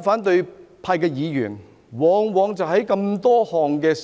反對派議員在眾多暴力